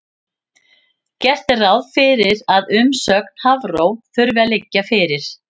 Gert er ráð fyrir að umsögn Hafró þurfi að liggja fyrir.